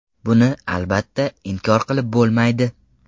Buni, albatta, inkor qilib bo‘lmaydi.